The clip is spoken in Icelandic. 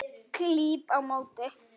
Klíp á móti.